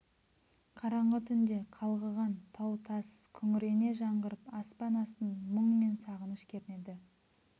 қараңғы түнде қалғыған тау-тас күңірене жаңғырып аспан астын мұң мен сағыныш кернеді